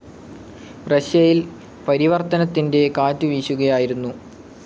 റഷ്യയിൽ പരിവർത്തനത്തിന്റെ കാറ്റു വീശുകയായിരുന്നു.